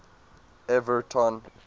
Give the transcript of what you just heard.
everton